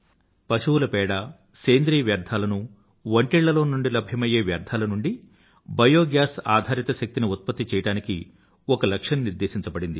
పశువుల పేడ సేంద్రీయ వ్యర్థాలను వంటిళ్ళలో నుండి లభ్యమయ్యే వ్యర్థాల నుండి బయో గ్యాస్ ఆధారిత శక్తిని ఉత్పత్తి చెయ్యడానికి ఒక లక్ష్యాన్ని నిర్దేశించబడింది